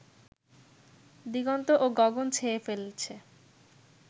দিগন্ত ও গগন ছেয়ে ফেলছে